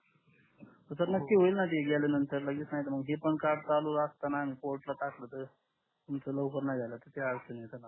sir नक्की होईल न जी गेल्याननंतर लगेच नाही तर मग ही कार्ड पण चालू असताना पोर्ट टाकल तर लवकर नाही झाल अडचण येत काम नये